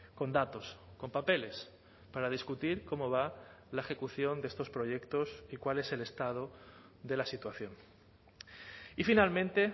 con datos con papeles para discutir cómo va la ejecución de estos proyectos y cuál es el estado de la situación y finalmente